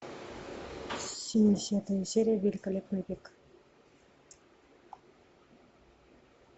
семидесятая серия великолепный век